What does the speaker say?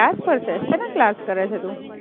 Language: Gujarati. ક્લાસ પર છે, શેના ક્લાસ કરે છે તું?